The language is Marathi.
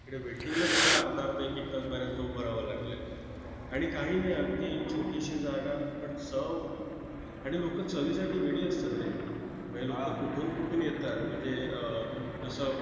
तिकडे waiting लाच मला अर्धा-अर्धा, एक-एक तास बऱ्याचदा उभं राहावं लागलंय आणि काही नाही! अगदी छोटीशी जागा पण चव आणि लोकं चवीसाठी वेडी असतात रे! म्हणजे लोकं कुठून कुठून येतात म्हणजे अं जसं